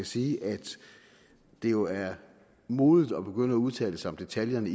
sige at det jo er modigt at begynde at udtale sig om detaljerne